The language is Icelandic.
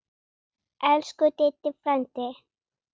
Elsku Diddi frændi.